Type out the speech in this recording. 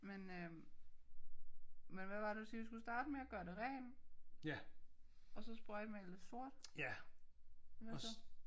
Men øh men hvad var det du siger vi skulle starte med at gøre det rent og så sprøjtemale det sort? Og hvad så`